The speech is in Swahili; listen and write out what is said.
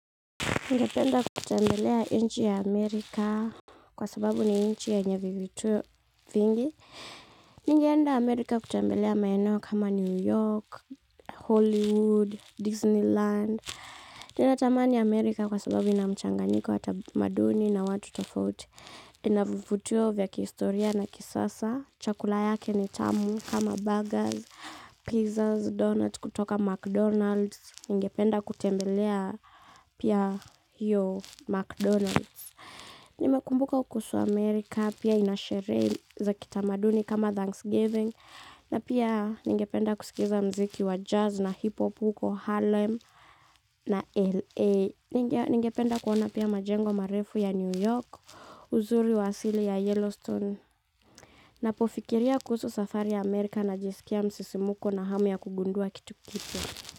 Ningependa kutembelea nchi ya Amerika kwa sababu ni nchi yenye vivutio vingi. Ningeenda Amerika kutembelea maeneo kama New York, Hollywood, Disneyland. Ninatamani Amerika kwa sababu inamchanganiko wa tamaduni na watu tofauti. Inavivutio vya kihistoria na kisasa. Chakula yake ni tamu kama burgers, pizzas, donuts kutoka McDonald's. Ningependa kutembelea pia hiyo McDonald's. Nimekumbuka kuhusu Amerika pia inasherehe za kitamaduni kama Thanksgiving na pia ningependa kusikiza mziki wa jazz na hip-hop huko Harlem na LA ningependa kuona pia majengo marefu ya New York, uzuri wa asili ya Yellowstone. Ninapofikiria kuhusu safari ya Amerika najisikia msisimko na hamu ya kugundua kitu kipia.